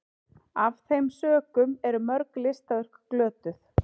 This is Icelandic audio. af þeim sökum eru mörg listaverk glötuð